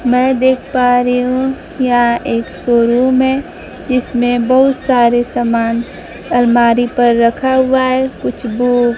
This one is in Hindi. मैं देख पा री हूँ यहां एक शोरूम है इसमें बहुत सारे समान अलमारी पर रखा हुआ है कुछ बु --